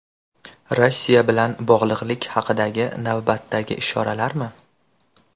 Rossiya bilan bog‘liqlik haqidagi navbatdagi ishoralarmi?